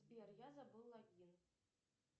сбер я забыла логин